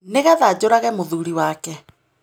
Nĩgetha njũrage mũthuuri wake.